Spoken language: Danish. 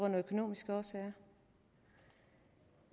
økonomiske årsager